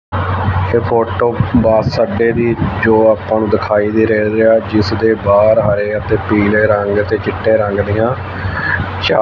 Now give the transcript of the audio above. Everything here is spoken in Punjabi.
ਇਹ ਫੋਟੋ ਬੱਸ ਅੱਡੇ ਦੀ ਜੋ ਆਪਾਂ ਨੂੰ ਦਿਖਾਈ ਦੇ ਰਹੇ ਆ ਜਿਸ ਦੇ ਬਾਹਰ ਹਰੇ ਅਤੇ ਪੀਲੇ ਰੰਗ ਅਤੇ ਚਿੱਟੇ ਰੰਗ ਦੀਆਂ ਚ--